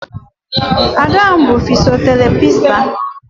Ada m bu fisoterapisti